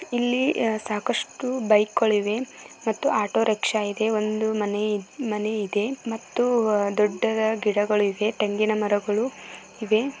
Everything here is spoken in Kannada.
ಇಲ್ಲಿ ಸಾಕಷ್ಟು ಬೈಕ್ ಗಳು ಇವೆ ಮತ್ತು ಆಟೋ ರಿಕ್ಷಾ ಇದೆ ಒಂದು ಮನೆ ಇದೆ ಅಹ್ ಮತ್ತು ದೊಡ್ಡ ಗಿಡ್ಡ ಗಳು ಇವೇ.